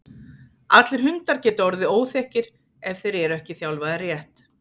Allir hundar geta orðið óþekkir ef þeir eru ekki þjálfaðir rétt.